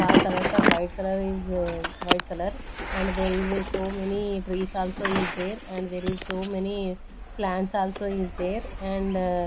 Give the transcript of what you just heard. colors are white color is white color and there is a so many trees also is there and so many plants also is there and--